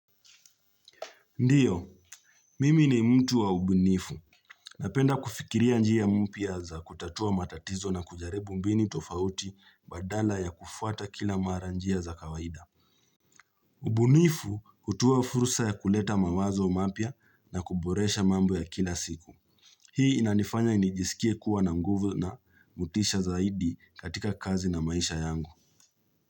Ndio, mimi ni mtu wa ubunifu. Napenda kufikiria njia mpya za kutatua matatizo na kujaribu mbini tofauti badala ya kufuata kila mara njia za kawaida. Ubunifu utuoa furusa ya kuleta mawazo mapya na kuboresha mambo ya kila siku. Hii inanifanya inijisikie kuwa na nguvu na motisha zaidi katika kazi na maisha yangu.